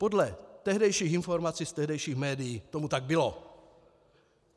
Podle tehdejších informací z tehdejších médií tomu tak bylo.